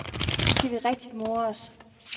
Nu skal vi rigtig more os.